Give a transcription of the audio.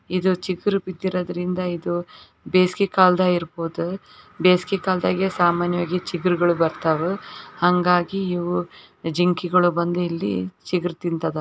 ಇದು ಚಿಗುರು ಬಿದ್ದೋರೋದಿಂದ ಇದು ಬೇಸ್ಗೆ ಕಾಲ್ದ ಇರ್ಬಹುದು ಬೇಸ್ಗೆ ಕಾಲ್ದಗೆ ಸಾಮಾನ್ಯ ವಾಗಿ ಚಿಗುರುಗಳ್ ಬರ್ತಾವು ಹಂಗಾಗಿ ಇವು ಜಿಂಕೆಗಳು ಬಂದಿ ಇಲ್ಲಿ ಚಿಗರ್ ತಿಂತದ.